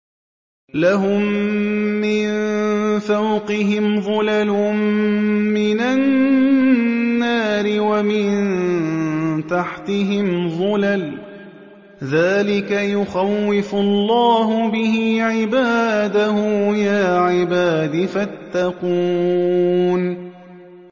لَهُم مِّن فَوْقِهِمْ ظُلَلٌ مِّنَ النَّارِ وَمِن تَحْتِهِمْ ظُلَلٌ ۚ ذَٰلِكَ يُخَوِّفُ اللَّهُ بِهِ عِبَادَهُ ۚ يَا عِبَادِ فَاتَّقُونِ